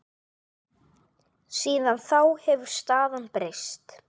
Síðan þá hefur staðan breyst.